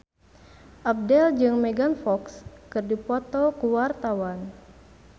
Abdel jeung Megan Fox keur dipoto ku wartawan